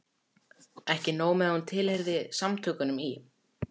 Ekki nóg með að hún tilheyrði Samtökunum í